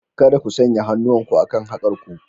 Kada ku sanya hannuwanku akan haƙar ku!